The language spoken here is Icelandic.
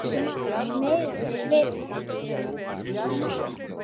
Það mega þeir vita.